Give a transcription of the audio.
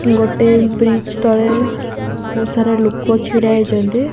ଗୋଟିଏ ବ୍ରିଜ ତଳେ ବହୁତ ସାର ଲେକ ଛିଡାହୋଇଛନ୍ତି।